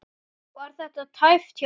Var þetta tæpt hjá ykkur?